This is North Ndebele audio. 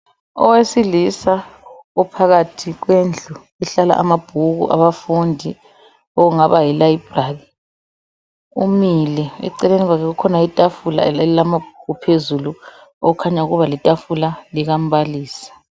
Owesilisa ophakathi kwendlu ehlala amabhuku abafundi okungaba yi library. Umile eceleni kwakhe kukhona itafula elamabhuku phezulu okhanya ukuba litafula likambalisi.